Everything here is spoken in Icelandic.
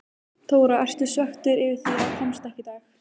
Þóra: Ertu svekktur yfir því að komast ekki í dag?